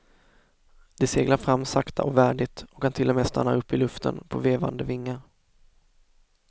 De seglar fram sakta och värdigt och kan till och med stanna upp i luften på vevande vingar.